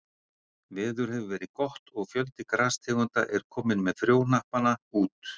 Veður hefur verið gott og fjöldi grastegunda er kominn með frjóhnappana út.